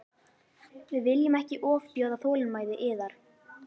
Við viljum ekki ofbjóða þolinmæði yðar.